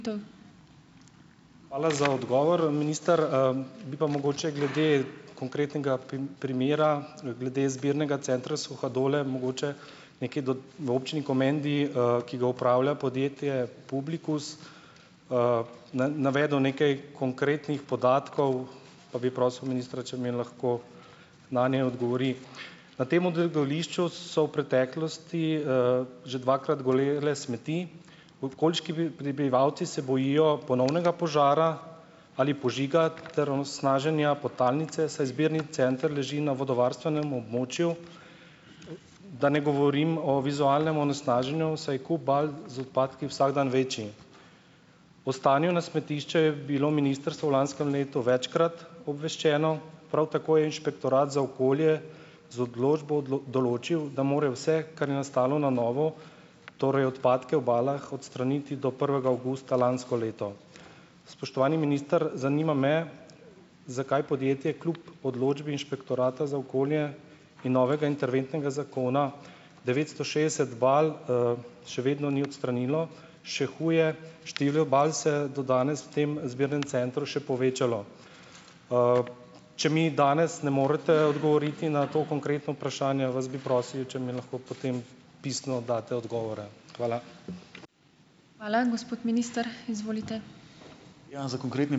Hvala za odgovor, minister. Bi pa mogoče glede konkretnega primera glede zbirnega centra Suhadole mogoče nekje do v občini Komendi, ki ga upravlja podjetje Publikus, navedel nekaj konkretnih podatkov, pa bi prosil ministra, če mi lahko nanje odgovori. Na tem odlagališču so v preteklosti, že dvakrat gorele smeti. Okoliški prebivalci se bojijo ponovnega požara ali požiga ter onesnaženja podtalnice, saj zbirni center leži na vodovarstvenem območju, da ne govorim o vizualnem onesnaženju, saj kup bal z odpadki vsak dan večji. O stanju na smetišče je bilo ministrstvo v lanskem letu večkrat obveščeno, prav tako je Inšpektorat za okolje z odločbo določil, da morajo vse, kar je nastalo na novo, torej odpadke v balah, odstraniti do prvega avgusta lansko leto. Spoštovani minister, zanima me, zakaj podjetje kljub odločbi Inšpektorata za okolje in novega interventnega zakona devetsto šest bal, še vedno ni odstranilo. Še huje, število bal se je do danes v tem zbirnem centru še povečalo. Če mi danes ne morete odgovoriti na to konkretno vprašanje, vas bi prosil, če mi lahko potem pisno daste odgovore. Hvala.